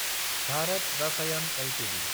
Bharat Rasayan Ltd